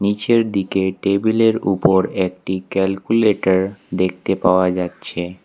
নীচের দিকে টেবিলের উপর একটি ক্যালকুলেটর দেখতে পাওয়া যাচ্ছে।